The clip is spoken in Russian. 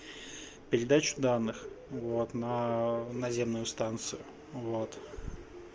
передачу данных вот на наземную станцию вот